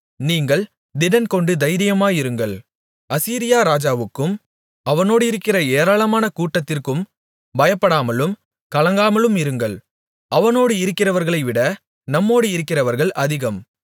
நீங்கள் திடன்கொண்டு தைரியமாயிருங்கள் அசீரியா ராஜாவுக்கும் அவனோடிருக்கிற ஏராளமான கூட்டத்திற்கும் பயப்படாமலும் கலங்காமலுமிருங்கள் அவனோடு இருக்கிறவர்களைவிட நம்மோடு இருக்கிறவர்கள் அதிகம்